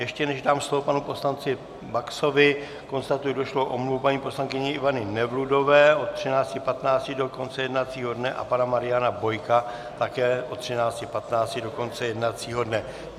Ještě než dám slovo panu poslanci Baxovi, konstatuji došlou omluvu paní poslankyně Ivany Nevludové od 13.15 do konce jednacího dne a pana Mariana Bojka, také od 13.15 do konce jednacího dne.